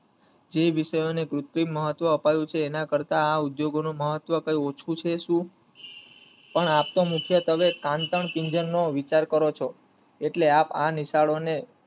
જે વિષય ને કૃત્રિમ મહત્વ અપાયું છે એના કરતા આ ઉદ્યયોગો નું મહત્વ કય ઓછું છે શું પણ આમ તો મુખ્યત્વે કાન્તણ કીજનનો વિચાર કરે છો એટલે એ આ નિશાળો ને